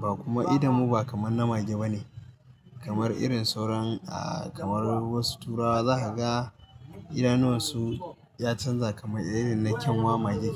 ba kuma idanmu ba kamar na mage ba ne, kamar irin sauran ah kamar wasu turawa za ka ga idanuwansu ya canza kamar irin na kyanwa mage.